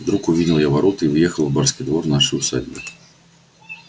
вдруг увидел я ворота и въехал в барский двор нашей усадьбы